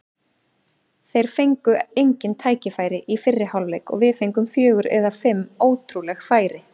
Þeir fengu engin tækifæri í fyrri hálfleik og við fengum fjögur eða fimm ótrúleg færi.